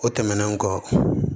O tɛmɛnen kɔ